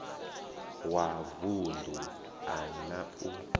wa vunḓu a na u